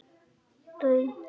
Þau dvelja þar á beit.